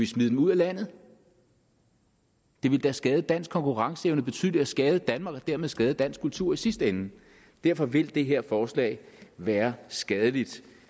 smide dem ud af landet det ville da skade dansk konkurrenceevne betydeligt og skade danmark og dermed skade dansk kultur i sidste ende derfor vil det her forslag være skadeligt